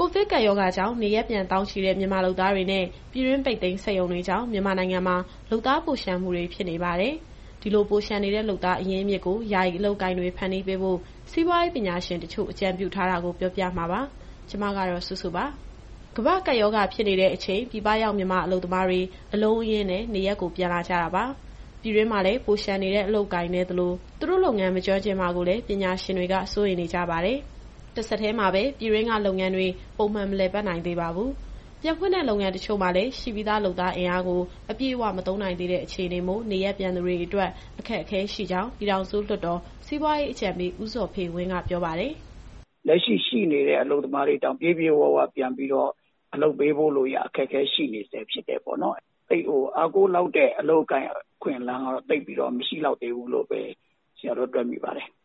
ကိုဗစ်ကပ်ရောဂါကြောင့် နေရပ်ပြန်သောင်းချီတဲ့ မြန်မာလုပ်သားတွေနဲ့ ပြည်တွင်းပိတ်သိမ်းစက်ရုံတွေကြောင့် မြန်မာနိုင်ငံမှာ လုပ်သားပိုလျှံမှုတွေ ဖြစ်နေပါတယ်။ ဒီလိုပိုလျှံနေတဲ့ လုပ်သားအရင်းအမြစ်ကို ယာယီအလုပ်အကိုင်တွေ ဖန်တီးပေးဖို့ စီးပွားရေးပညာရှင်တချို့ အကြံပြုတာကို ဗွီအိုအေမြန်မာပိုင်း သတင်းထောက် မစုစုက ပြောပြမှာပါ။ ကမ္ဘာ့ကပ်ရောဂါဖြစ်နေတဲ့အချိန် ပြည်ပရောက် မြန်မာအလုပ်သမားတွေ အလုံးအရင်းနဲ့ နေရပ်ကို ပြန်လာကြတာပါ။ ပြည်တွင်းမှာလည်း ပိုလျှံနေတဲ့ အလုပ်အကိုင်နည်းသလို သူတို့ လုပ်ငန်းမကျွမ်းကျင်မှာကိုလည်း ပညာရှင်တွေက စိုးရိမ်နေကြပါတယ်။ တဆက်တည်းမှာပဲ ပြည်တွင်းကလုပ်ငန်းတွေ ပုံမှန်မလည်ပတ်နိုင်သေးပါဘူး။ ပြန်ဖွင့်တဲ့လုပ်ငန်း တချို့မှာလည်း ရှိပြီးသား လုပ်သားအင်အားကို အပြည့်အဝ မသုံးနိုင်သေးတဲ့အခြေအနေမို့ နေရပ်ပြန်သူတွေအတွက် အခက်အခဲရှိကြောင်း ပြည်ထောင်စုလွှတ်တော် စီးပွားရေးအကြံပေး ဦးဇော်ဖေဝင်းက ပြောပါတယ်။ “လက်ရှိ ရှိနေတဲ့ အလုပ်သမားတွေတောင် ပြည့်ပြည့်ဝဝပြန်ပြီးတော့ အလုပ်ပေးဖို့ရာ အခက်အခဲရှိနေဆဲ ဖြစ်တယ်ပေါ့နော်။ သိပ်အားကိုးလောက်တဲ့ အလုပ်အကိုင်အခွင့်အလမ်းကတော့ သိပ်ပြီးတော့ မရှိလောက်သေးဘူးလို့ပဲ ဆရာတော့တွက်မိပါတယ်။”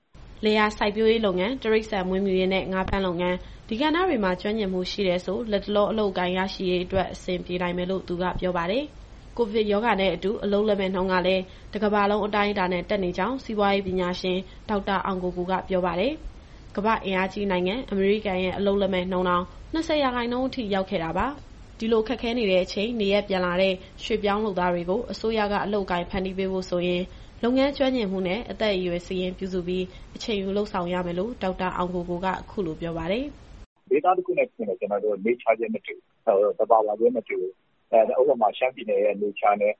လယ်ယာစိုက်ပျိုးရေးလုပ်ငန်း၊ တိရစ္ဆာန်မွေးမြူရေးနဲ့ ငါးဖမ်းလုပ်ငန်း။ ဒီကဏ္ဍတွေမှာ ကျွမ်းကျင်မှုရှိတယ်ဆို လတ်တလောအလုပ်အကိုင် ရရှိရေးအတွက် အဆင်ပြေနိုင်မယ်လို့ သူကပြောပါတယ်။ ကိုဗစ်ရောဂါနဲ့အတူ အလုပ်လက်မဲ့နှုန်းကလည်း တကမ္ဘာလုံးအတိုင်းအတာနဲ့ တက်နေကြောင်း စီးပွားရေးပညာရှင် ဒေါက်တာအောင်ကိုကိုက ပြောပါတယ်။ ကမ္ဘာ့အင်အားကြီးနိုင်ငံအမေရိကန်ရဲ့ အလုပ်လက်မဲ့နှုန်းတောင် ၂၀ ရာခိုင်နှုန်း ထိရောက်ခဲ့တာပါ။ ဒီလိုခက်ခဲနေတဲ့အချိန် နေရပ်ပြန်လာတဲ့ ရွှေ့ပြောင်းလုပ်သားတွေကို အစိုးရက အလုပ်အကိုင်ဖန်တီးပေးဖို့ဆိုရင် လုပ်ငန်းကျွမ်းကျင်မှုနဲ့ အသက်အရွယ် စာရင်းပြုစုပြီး အချိန်ယူလုပ်ဆောင်ရမယ်လို့ ဒေါက်တာအောင်ကိုကိုက အခုလိုပြောပါတယ်။ “ဒေသ တခုနဲ့တခု သဘာဝချင်းမတူဘူး။ ဥပမာ ရှမ်းပြည်နယ်သဘာဝနဲ့ ရ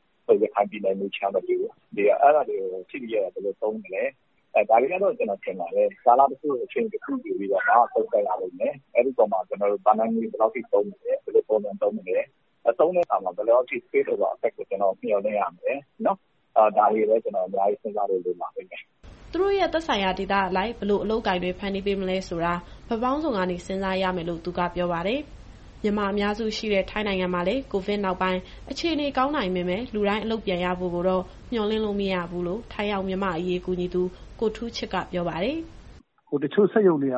ခိုင်ပြည်နယ်သဘာဝမတူဘူး။ ဒီတော့ အဲဒါတွေကိုကြည့်ပြီးတော့ ဘယ်လိုသုံးမလဲ။ ဒါတွေကတော့ ကျနော်ထင်ပါတယ်။ ကာလတခု အချိန်တခုယူပြီးတော့ သုံးသပ်ရလိမ့်မယ်။ အဲဒီအပေါ်မှာ ဘဏ္ဍာငွေဘယ်လောက်ထိသုံးမလဲ၊ ဘယ်လိုပုံစံသုံးမလဲ။ သုံးတဲ့အခါမှာရော ဘယ်လောက်ထိ သက်ရောက်မှုအပေါ် မျှော်လင့်ရမလဲ။ ဒါတွေကိုလည်း ကျနော်တို့အများကြီးစဉ်းစားဖို့ လိုပါလိမ့်မယ်။” သူတို့ရဲ့သက်ဆိုင်ရာဒေသအလိုက် ဘယ်လိုအလုပ်အကိုင်တွေ ဖန်တီးပေးမလဲဆိုတာ ဘက်ပေါင်းစုံကနေ စဉ်းစားရမယ်လို့ သူကပြောပါတယ်။ မြန်မာအများစုရှိတဲ့ ထိုင်းနိုင်ငံမှာလည်း COVID နောက်ပိုင်း အခြေအနေကောင်းနိုင်ပေမဲ့ လူတိုင်းအလုပ်ပြန်ရဖို့ကိုတော့ မျှော်လင့်လို့ မရဘူးလို့ ထိုင်းရောက် မြန်မာ့အရေးကူညီသူ ကိုထူးချစ်က ပြောပါတယ်။ “တချို့စက်ရုံတွေက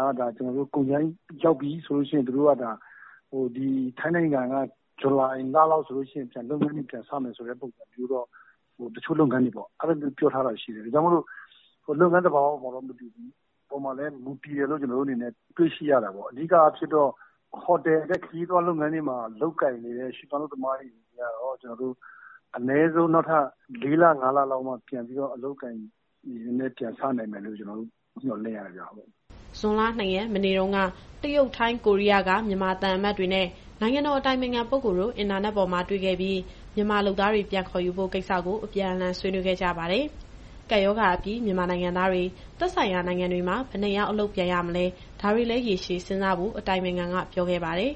ကုန်ကြမ်းရောက်ပြီဆိုရင် ဇူလိုင်လလောက်မှာ လုပ်ငန်းတွေပြန်စမယ်ဆိုတဲ့ပုံစံမျိုးတော့ တချို့လုပ်ငန်းတွေ ပြောထားတာရှိတယ်။ ဒါကြောင့်မို့ လုပ်ငန်းသဘာဝပေါ်မှာ မူတည်တယ်လို့လည်း ကျနော်တို့အနေနဲ့ တွေ့ရှိရတာပေါ့။ အဓိကအားဖြင့်တော့ ဟိုတယ်နဲ့ ခရီးသွားလုပ်ငန်းတွေမှာ လုပ်ကိုင်နေတဲ့ ရွှေ့ပြောင်းအလုပ်သမားတွေကတော့ အနည်းဆုံးနောက်ထပ် ၄လ၊ ၅လလောက်မှ ပြန်ပြီးတော့ အလုပ်အကိုင်တွေပြန်စနိုင်မယ်လို့ မျှော်လင့်ရတယ်ဗျ။” ဇွန်လ ၂ ရက် မနေ့တုန်းက တရုတ်၊ ထိုင်း၊ ကိုရီးယားက မြန်မာသံအမတ်တွေနဲ့ နိုင်ငံတော်အတိုင်ပင်ခံပုဂ္ဂိုလ်တို့ အင်တာနက်ပေါ်မှာ တွေ့ခဲ့ပြီး မြန်မာလုပ်သားတွေ ပြန်ခေါ်ယူဖို့ ကိစ္စကို အပြန်အလှန်ဆွေးနွေးခဲ့ကြပါတယ်။ ကပ်ရောဂါအပြီး မြန်မာနိုင်ငံသားတွေ သက်ဆိုင်ရာနိုင်ငံတွေမှာ ဘယ်နှစ်ယောက်အလုပ်ပြန်ရမလဲ ဒါတွေလည်း ရေရှည်စဉ်းစားဖို့ အတိုင်ပင်ခံက ပြောခဲ့ပါတယ်။